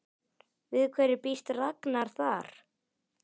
Við hverju býst Ragnar þar?